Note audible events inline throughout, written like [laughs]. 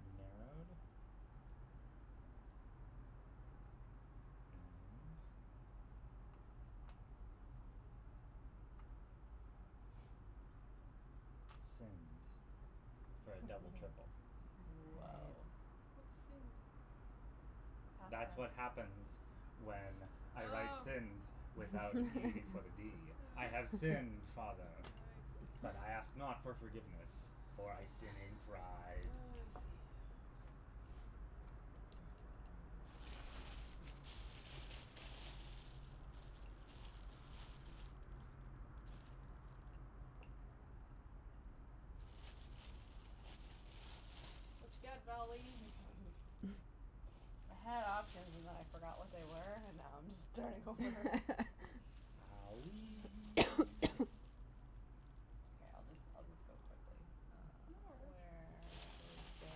Narrowed? And Sinned for a double triple. Whoa. Nice. What's sinned? Past That's what happens tense. when I write Oh. sinned without an e before the d. [laughs] I have Oh. sinned, I father, see. but I ask not for forgiveness, for I sin in Oh, pride. I see. What you got, vowel lady? [laughs] I had options and then I forgot what they were and now I'm just starting over. [laughs] Owee. [noise] [noise] Okay, I'll just I'll just go quickly. No [noise] Uh, worries. where is there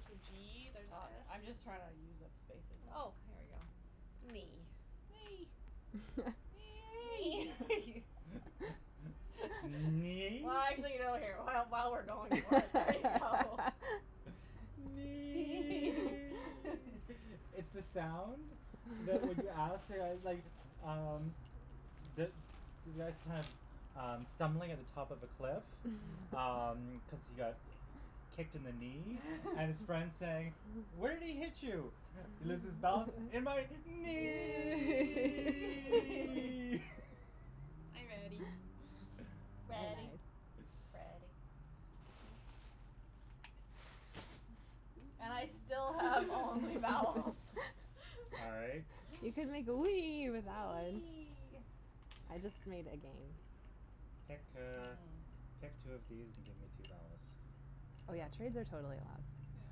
There's a g, there's an I'm s. just trying to use up spaces. Oh, Mm. here we go. Knee. Nay. [laughs] [laughs] Knee. [noise] [laughs] [laughs] [laughs] Knee? Well, actually, [inaudible] while we're going for it, there you go. [laughs] [laughs] [laughs] Nee! It's the sound that when you ask, like, [laughs] um, the the guy's kind of, um, stumbling at the top of a cliff, um, [laughs] cuz he got kicked in the knee and his friend's saying, "Where'd he hit you?" He loses balance. "In my Knee. knee!" [laughs] Are you ready? [laughs] [laughs] Ready, Nice. Freddy. And I still have [noise] only vowels. [laughs] All right. [laughs] You can make the wee with that one. Wee. I just made again. Pick, Mhm. uh, pick two of these and give me two vowels. Oh, yeah, trades are totally allowed. Yeah.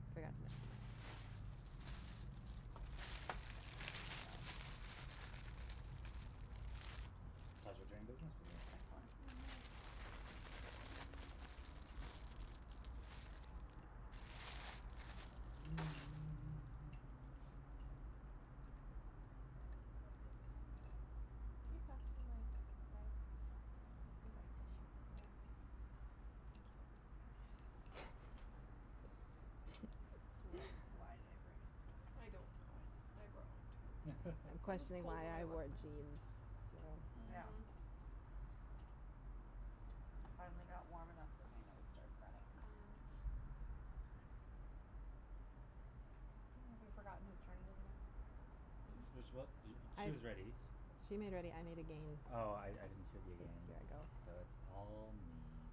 I forgot to mention that. Pleasure doing business with you. Excellent. Mhm. [noise] Keep that in mind. [inaudible] Thank you. Sweater. Why [laughs] did I bring a sweater? I don't know. I brought one, too. I'm It was questioning cold why when I [laughs] I left wore my house. jeans, so Yeah. Mhm. I finally got warm enough that my nose started running. Mm. [noise] Have we forgotten whose turn it is again? This is what [inaudible] I she is ready. She made ready, I made again. Oh, I I didn't hear the It's again, there I so go. it's all me.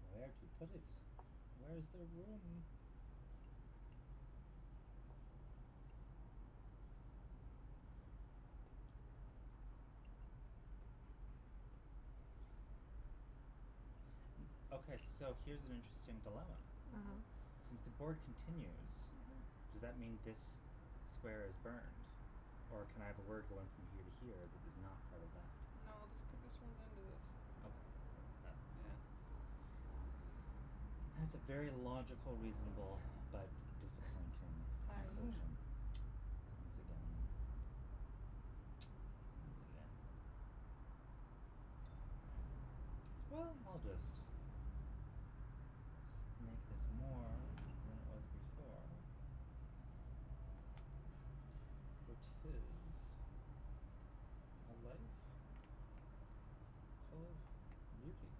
Where to put it. Where's there room? [noise] Okay, so here's an interesting dilemma. Mhm. Mhm. Since the board continues, Mhm. does that mean this square is burned, or can I have a word going from here to here that is not part of that? No, this could this runs into this. Okay, th- that's Yeah. That's a very logical, reasonable but disappointing conclusion [inaudible] [laughs] [noise] once again. [noise] Once again. [noise] Well, I'll just make this more than it was before. For it is a life full of beauties.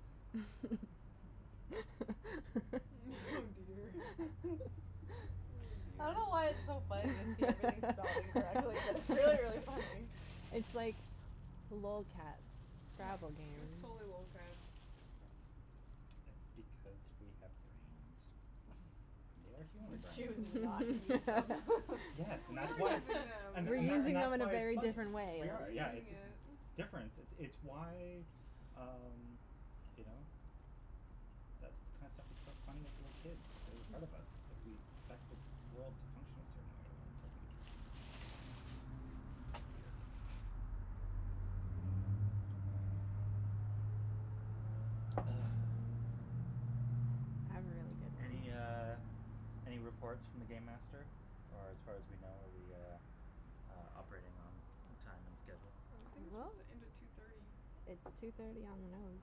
[laughs] [laughs] Oh dear. Oh, [laughs] I dear. don't know why it's so funny to see everything spelled incorrectly, but it's really, really funny. [laughs] [laughs] It's like lolcats Scrabble game. It was totally lolcats. It's because we have brains. And they are [laughs] human We're brains. choosing not to use them. Yes, and We that's are why it's using [laughs] [laughs] them, and we th- We're and th- are. and using them that's in a why it's very funny. different We way. We're are, yeah, using it's it. difference. It's why, um, you know, that kind of stuff is so funny with little kids, a part of us, it's like we expect the world to function a certain way when it doesn't. Weird. Ah. I have a really Any, good one. uh, any reports from the game master, or as far as we know are we, uh, operating on time and schedule? I think it's Well, supposed to end at two thirty. it's two thirty on the nose.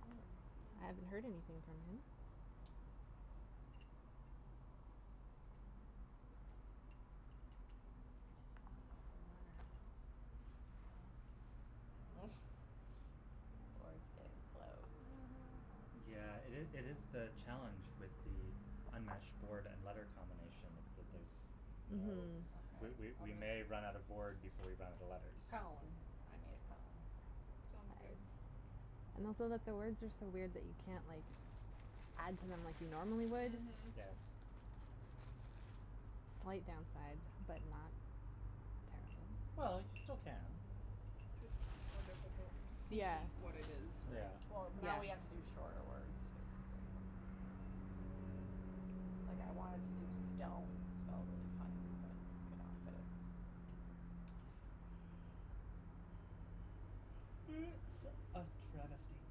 Okay. I haven't Hmm. heard anything from him. Hmm. I just want an open letter. [noise] Or it's getting close to Mhm. Yeah, it is it is the challenge with the unmatched board and letter combination is that there's no Mhm. We Okay, we we I'll may run out of just board before we run out of letters. Column. I made a column. Sounds good. And also that the words are so weird that you can't, like, add to them like you normally would. Mhm. Yes. Slight downside but not terrible. Well, you still can. Just more difficult to see Yeah. what it is, yeah. Yeah. Well, now we have to do Yeah. shorter words, basically. Like, I wanted to do stone spelled really funny, but it couldn't all fit. It's a travesty.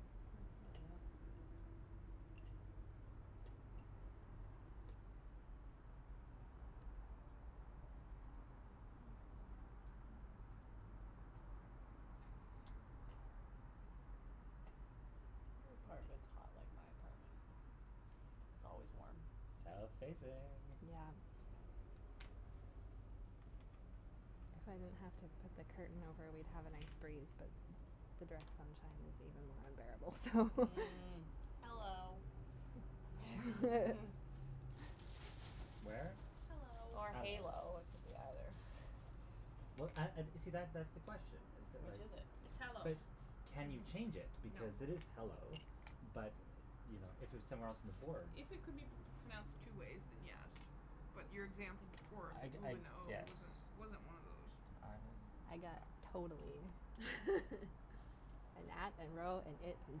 [noise] [noise] Your apartment's hot like my apartment. It's always warm. South facing. Yeah. Yeah. If I didn't have to put the curtain over, we'd have a nice breeze, but the direct sunshine is even more unbearable, so Mm. Mm. Hello. [laughs] [laughs] Where? Hello. Or Hello. halo, it could be either. Well, and and see, that that's the question is that, Which like is it? It's hello. But can you change it No. because it is hello, but, you know, if it was somewhere else on the board If it could be p- pronounced two ways, then yes. But your example before, the I g- ooh I and the oh, guess. wasn't wasn't one of those. I I got totally. [laughs] And at and row and it and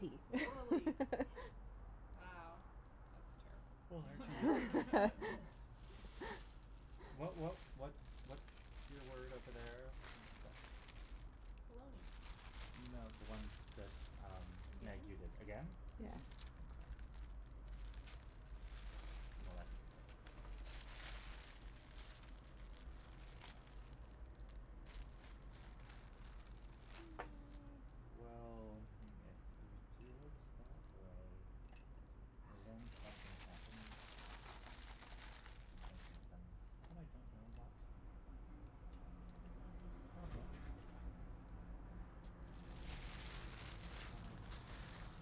tee. [inaudible] [laughs] Wow, that's terrible. [laughs] [noise] [laughs] What what what's what's your word over there that Baloney. No, the one that, um, Meg, you did, Again? again? Yeah. Mhm. Okay. Well, that doesn't help me. [noise] Well, if we do it that way, then something happens. Something happens, but I don't know what. Mhm. It's a problem. But I don't know.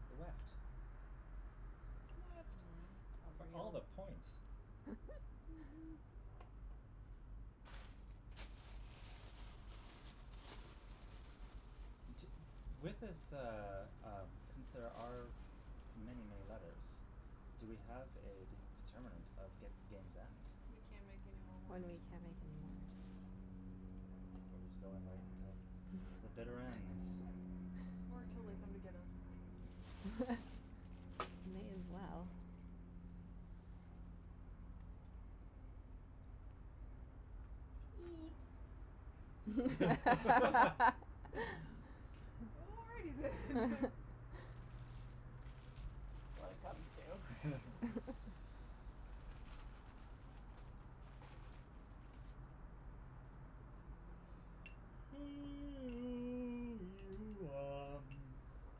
It's the weft. Weft. Mm. Oh, For for all of real? the points. Mhm. Mhm. [laughs] T- with this, uh, um, since there are many, many letters, do we have a d- determinant of g- game's end? We can't make anymore When words. we can't make anymore words. We're just going right until the bitter ends? [laughs] Or till they come to get us. [laughs] May as well. Teat [laughs] [laughs] [laughs] [laughs] Already then. [laughs] When it comes to [laughs] [laughs] [noise] [noise]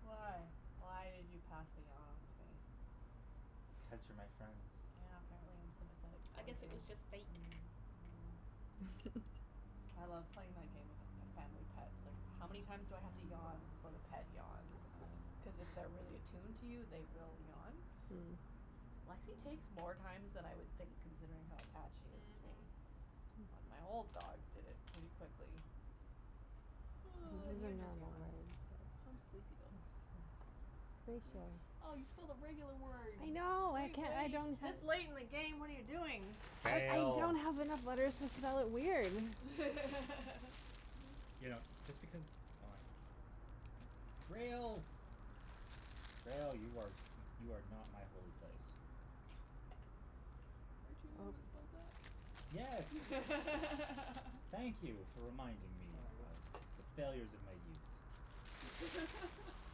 Why? Why did you pass the yawn onto me? Cuz you're my friend. Yeah, apparently I'm sympathetic I towards guess it you. was just fake. Mm. Mm. [laughs] I love playing my game with a f- family pet. Like, how many times do I have to yawn before the pet yawns? Cuz Oh. if they're really attuned to you, they will yawn. Hmm. Lexie takes more times than I would think considering how attached she is to me. Mhm. But Hmm. my old dog did it really quickly. And Oh. This is then the you just normal yawned. I'm way. sleepy, though. Ratio. [laughs] Oh, you spelled a regular word. I know, I can- I [inaudible] don't have This late in the game? What are you doing? I Fail. don't have enough letters to spell it weird. [laughs] You know, just because, oh like Grail. Grail. You are you are not my holy place. [laughs] Weren't you the one Boat. that spelled that? Yes. Thank [laughs] you for reminding me Sorry. of the failures of my youth. [laughs]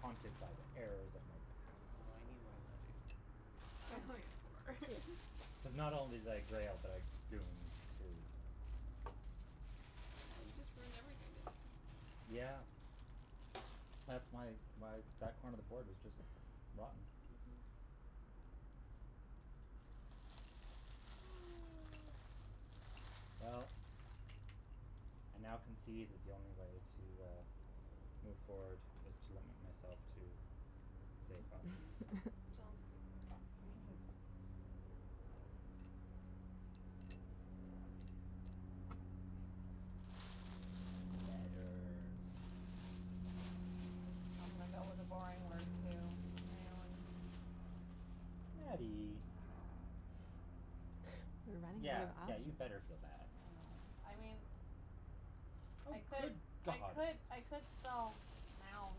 Haunted by the errors of my Oh, past. I need more letters. I only have four. [laughs] Cuz not only did I grail, but I gooned, too. Oh, you just ruined everything, didn't you? Yeah. That's my why that corner of the board is just rotten. Mhm. [noise] Well, I now concede that the only way to, uh, move forward is to limit myself to safe options. Sounds good. [laughs] [laughs] Letters. I'm gonna go with a boring word, too. [inaudible] I Nattie. know. We're running out Yeah, of yeah, options. you better feel bad. I mean, Oh, I could good I god. could I could spell now.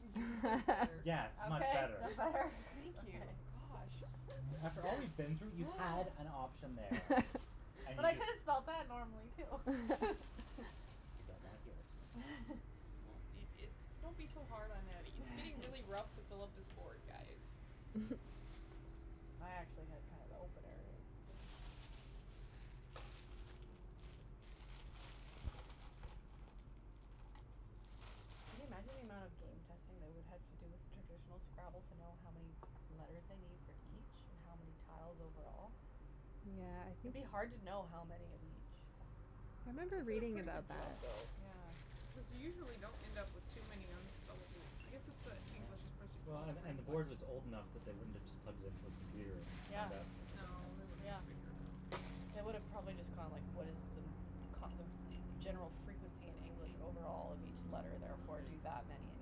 [laughs] That's better. Yes, much Okay? better. That better? Thank you. Okay. [laughs] Gosh. After all we've been through, you had an [noise] option there and But you I could just have spelled that [laughs] normally, too. I don't wanna hear [laughs] it. [laughs] Oh, it it's [laughs] don't be so hard on Nattie. It's getting really rough to fill up this board, guys. [laughs] [noise] I actually had kind of the opener there, I think. Can you imagine the amount of game [noise] testing they would have to do with traditional Scrabble to know how many letters they need for each and how many tiles overall? Yeah, I It'd think be hard to know how many of each. I remember They did a reading pretty good about job, that. though, Yeah. because you usually don't end up with too many unspellable I guess it's that Yeah, English well, and and the board was old enough [inaudible] that they wouldn't have just plugged it into a computer and Yeah. found out in a couple of No, minutes. they would have Yeah. figured it out. They would have probably just gone, like, what is the kind of general frequency in English overall of each Mm, letter, therefore, do somebody's that many in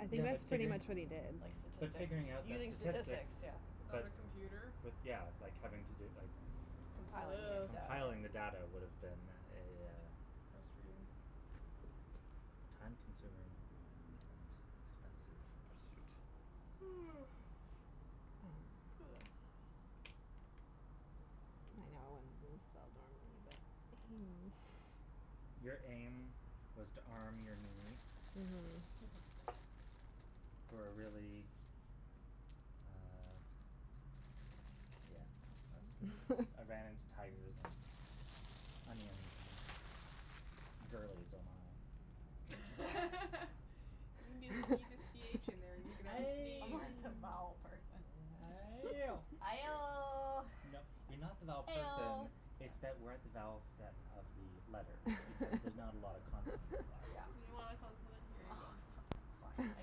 I think Yeah, but that's pretty figuring much what he Like did. But statistics. figuring out that Using statistics, statistics yeah. Without but a computer? With, yeah, like, having to do, like Compiling Ugh. the Compiling the data. data would have been a Frustrating. time consuming and Mhm. expensive pursuit. [noise] [noise] I know [inaudible] spelled normally, but aim. Your aim was to arm your knee Mhm. for a really, uh, yeah, no, I was I ran into [laughs] tigers and onions and girlies, oh my. [laughs] You n- [laughs] you need a c h in there and you can have a Ay! I'm sneeze. like the [laughs] vowel person. Ayo! Aioh. [laughs] You know, you're not the vowel person, Eoh. it's that we're at the vowel set of the letters because there's not a lot of consonants [laughs] left Yeah. You because [laughs] want a consonant? Here you go. [laughs] That's fine. I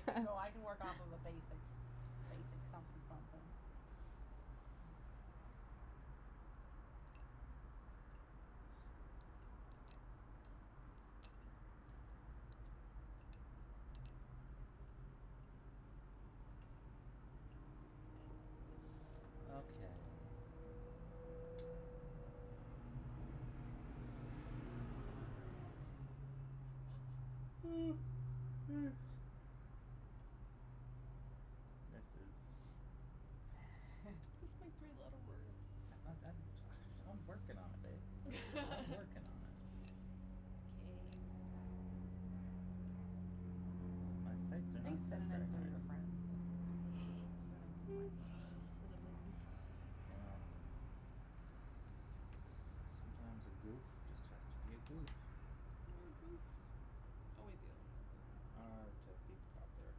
can go, I can work off a basic basic something something. Okay. [noise] This is Just [laughs] make three letter words. I I I'm ju- I"m working on it, babe. I'm working on it. [laughs] K. My my sights are I not think set very synonyms are high. your friends. Synonyms are my friends. [noise] Synonyms. You know, sometimes a goof just has to be a goof. More goofs. Oh [inaudible] R to be proper.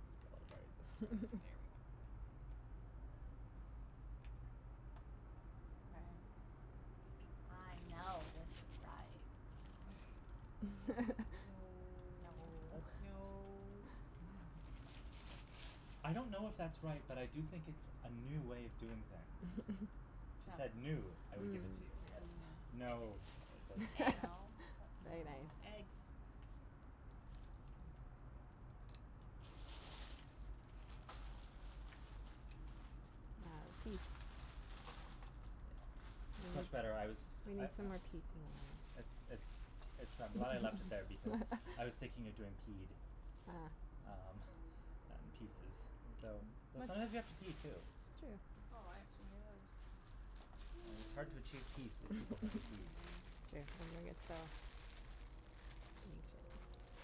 I'll spell it right this time. There we [laughs] go. That's better. Okay. I know this is right. [laughs] No. That No. No. [laughs] I don't know if that's right, but I do think it's a new way of doing things. [laughs] If it said new, I would give Mm. it to you. Yes. No, it doesn't fly Eggs. No? [laughs] But Very uh nice. [inaudible] Eggs. Ah, piece. Yeah, We it's need much better. I was we I need I some more pieces than It's this. it's it's I'm glad I left it there because I was thinking of doing [laughs] peed, Ah. um, and pieces. Though though sometimes you That have to pee too. It's true. Oh, I have too many letters. It is hard to achieve peace if people haven't peed. [noise] [laughs] [inaudible]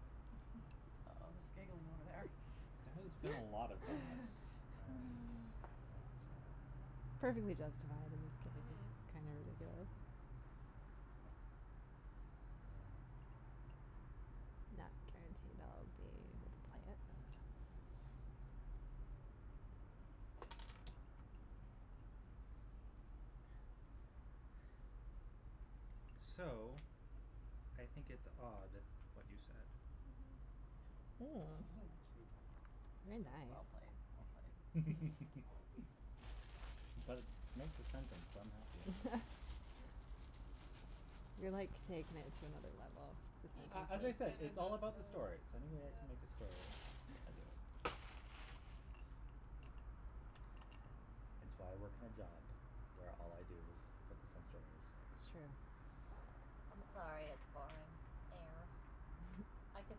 [laughs] Oh, there's giggling over there. There has been a lot of that and [laughs] [laughs] it, uh Perfectly justified in this case. Mhm. It's kinda ridiculous. Yeah. Not guaranteed I'll be able to play it, but So, I think it's odd what you said. Mhm. [laughs] Cute. Mm. Very nice. That's well played, well played. [laughs] But it makes a sentence, so I'm happy. [laughs] You're like taking it to another level, the He he A a as I said, kind of it's sentences. all does that, about the stories. Any way I can make a yes. story, I do it. It's why I work in a job where all I do is focus on stories. That's true. I'm sorry it's boring. Air. I could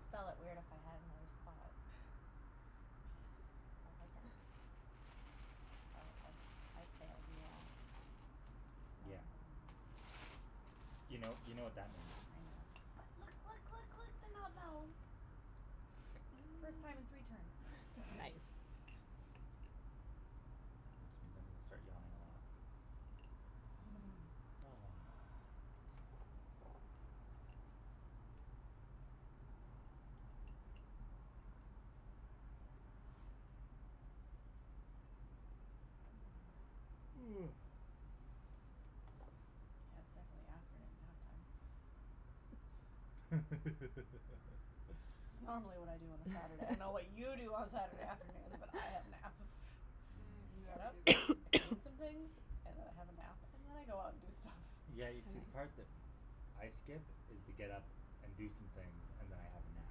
spell it weird if I had another spot. But I don't, so I I've failed you all. Yeah. You know, you know what that means. I know. But look, look, look, look, they're not vowels. First time in three turns. Mm. Nice. Which means I'm gonna start yawning a lot. [laughs] [noise] [noise] Yeah, it's definitely afternoon nap time. It's [laughs] normally what I do on a Saturday. I don't know what you do [laughs] on Saturday afternoons, but have naps. [laughs] Mm, I get never up, Mm. do that. I clean some things [noise] and I have a nap and then I go out and do stuff. Yeah, you Nice. see, the part that I skip is the get up and do some things and then I have a nap.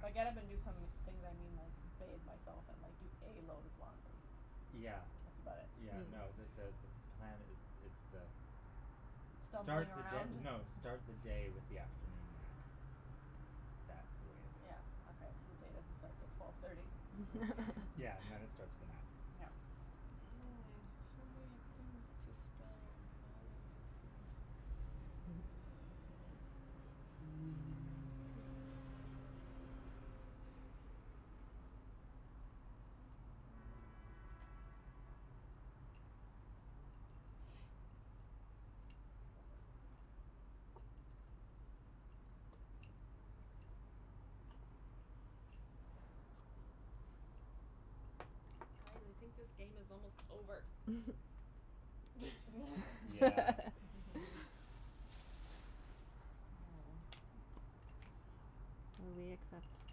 By get up and do some things, I mean, like, bathe myself and like do a load of laundry, Yeah. that's about it. Yeah, no, the Hmm. the the plan is is the start Stumbling the around? d- no, start the day with the afternoon nap. That's the way to do Yeah, it. okay, so the day doesn't start until twelve thirty? All Yeah, and then it right. [laughs] starts with a nap. [laughs] Yeah. Mm. So many things to spell and none of them make sense. Mm. [noise] [noise] [noise] [noise] Guys, I think this game is almost over. [noise] [laughs] Yeah. [laughs] [laughs] [laughs] Will we accept [inaudible]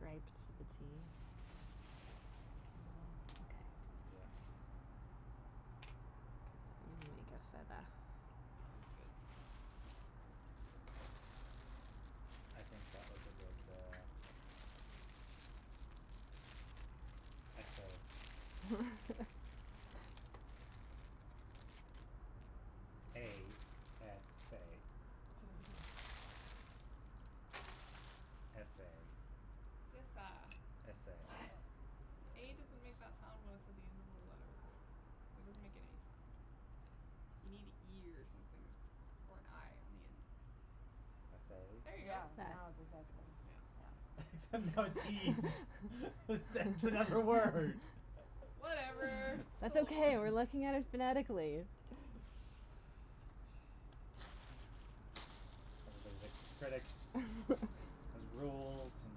with a t? Mhm. Mhm. Okay. Yeah. Cuz I'm [inaudible] Sounds good. I think that was a good, uh, essay. [laughs] A s a. S a. It's esa. S a. [laughs] A doesn't make that sound when it's at the end of a letter. That doesn't make any sound. You need an e or something or an i on the end. S Yeah. There you a? go. Yeah, That. now it's acceptable. Yeah. Except now it's ees. It's it's another word. Whatever, Whatever, [laughs] [laughs] it's That's still still okay, we're a word. looking at it phonetically. [noise] Everybody's a critic. Has [laughs] rules and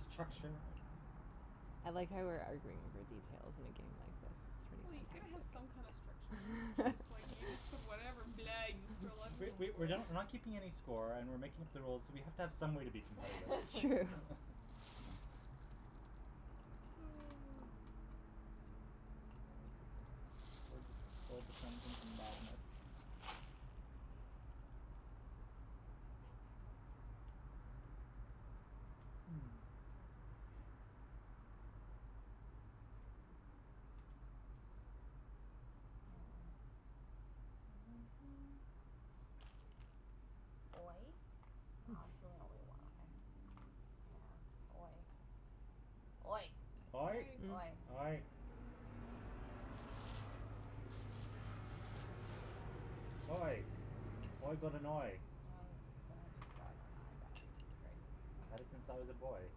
structure and I like how we're arguing over details in a game like this. It's Well, you pretty gotta have some kind of structure, or it's fantastic. just like you just put [laughs] whatever [laughs] blah, you just throw [noise] letters We on the we we're board. not we're not keeping any score and we're making up the rules, so we have to have some way to be competitive. It's true. [laughs] [laughs] [noise] What was the word that's pull [inaudible] madness? Hmm. [noise] [noise] Oy? No, that's really only a y. Yeah. Oy. Oy. Oy. Oy. Oy. Mm. Oy. Oy. Oy got an oy. Um then I just got an i back. Great. Had it since I was a boy.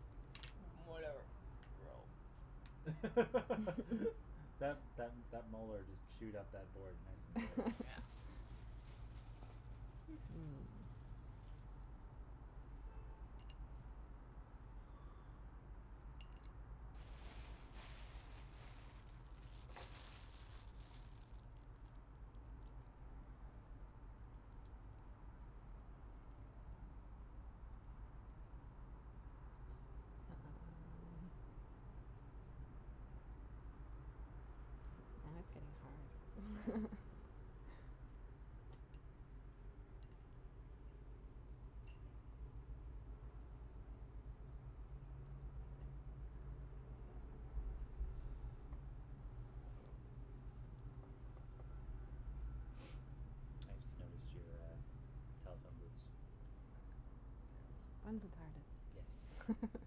[laughs] Whatever. Row. [laughs] That [laughs] that that molar just chewed up that board nice and good. Yeah. [laughs] Hmm. [noise] Now it's Yeah. getting hard. [laughs] Hmm. [noise] I just noticed your, uh, telephone booths. Back. They're awesome. One's a Yes. tardis. [laughs]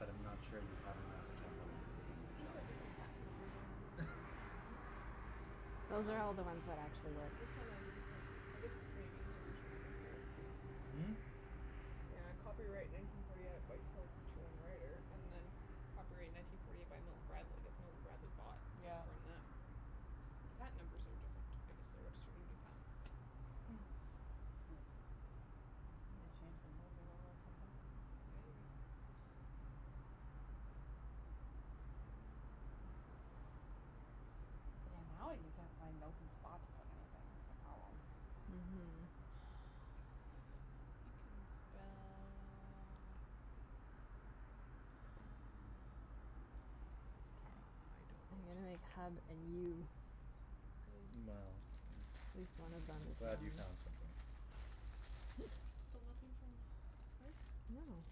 But I'm not sure you have enough camera lenses on that These shelf. have different patent numbers on there. [laughs] Those are Oh. all the ones that actually work. This one has a different I guess this maybe is the original maker. Hmm? Yeah, copyright nineteen forty eight by Selchow and Righter and then copyright nineteen forty eight by Milton Bradley. I guess Milton Bradley bought it Yeah. from them. But the patent numbers are different. I guess they registered a new patent. Hmm. Maybe they changed the rules a little or something. Maybe. Yeah, now you can't find an open spot to put anything, it's a problem. Mhm. You can spell, uh I don't know Okay. I'm what you gonna make could spell. hug and you. Sounds good. Well, At least one of them I'm is glad you wrong. found something. Still nothing from Rick? No.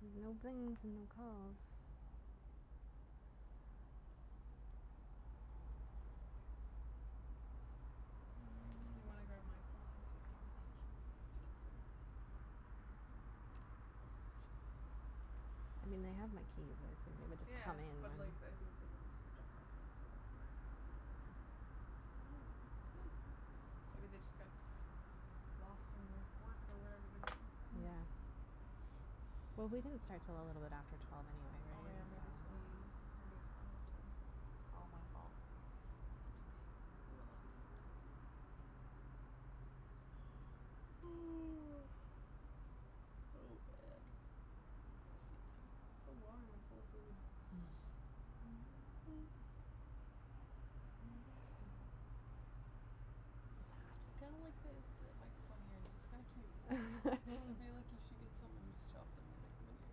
There's no blings and no calls. Just do you want to grab my phone Mm. and see if he messaged me? It's right there. I mean, they have my keys. I assume they would just Yeah, come in but and like, I think they want us to stop talking before [inaudible] Maybe they just got lost in their work or whatever they do. Hmm. Yeah. [noise] Well, we didn't start till a little bit after twelve Oh, anyway, yeah, right? maybe, so Mm. maybe it's not enough time [noise] yet. It's all my fault. [noise] [noise] Oh, man [inaudible] So warm and full of food. [laughs] [noise] I kinda like the the microphone earrings. It's kinda cute. I feel like you should get [laughs] [laughs] some and just chop them and make them into